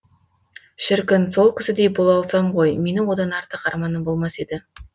шіркін сол кісідей бола алсам ғой менің одан артық арманым болмас еді